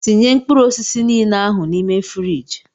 Tinye mkpụrụ osisi niile ahụ n'ime fruidge!!!